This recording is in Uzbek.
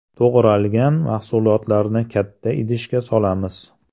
To‘g‘ralgan mahsulotlarni katta idishga solamiz.